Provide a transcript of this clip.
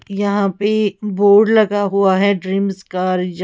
यहां पे बोर्ड लगा हुआ है ड्रीम्स कार जा--